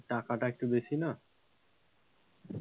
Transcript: টাকাটা একটু বেশি না,